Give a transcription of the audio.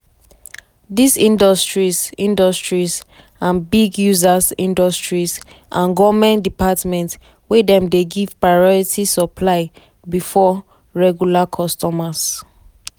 dis industries industries and big users industries and goment departments wey dem dey give priority supply bifor regular customers.